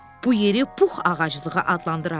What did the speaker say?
Bu yeri Pux ağaclığı adlandırarıq.